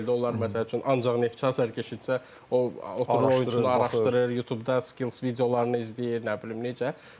Onlar məsəl üçün ancaq Neftçi azarkeşidirsə, o oyunçunu araşdırır, Youtube-da skills videolarını izləyir, nə bilim necə.